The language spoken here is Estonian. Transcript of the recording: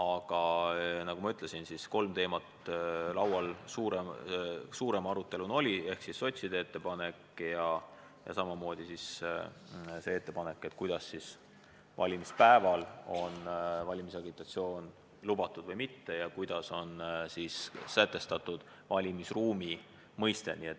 Aga nagu ma ütlesin, oli suurema aruteluna laual kolm teemat: sotside ettepanek ja see ettepanek, kas valimispäeval peaks valimisagitatsioon olema lubatud või mitte, ning see, kuidas on sätestatud valimisruumi mõiste.